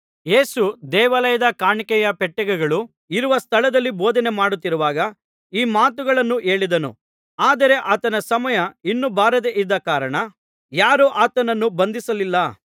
ಯೇಸು ದೇವಾಲಯದ ಕಾಣಿಕೆಯ ಪೆಟ್ಟಿಗೆಗಳು ಇರುವ ಸ್ಥಳದಲ್ಲಿ ಬೋಧನೆ ಮಾಡುತ್ತಿರುವಾಗ ಈ ಮಾತುಗಳನ್ನು ಹೇಳಿದನು ಆದರೆ ಆತನ ಸಮಯ ಇನ್ನೂ ಬಾರದೆ ಇದ್ದ ಕಾರಣ ಯಾರೂ ಆತನನ್ನು ಬಂಧಿಸಲಿಲ್ಲ